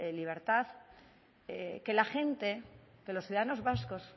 libertad que la gente que los ciudadanos vascos